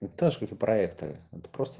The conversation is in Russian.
точно проекторы прос